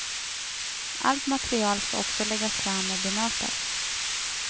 Allt material skall också läggas fram och bemötas.